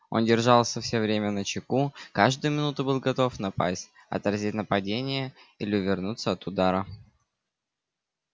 он держался всё время начеку каждую минуту был готов напасть отразить нападение или увернуться от удара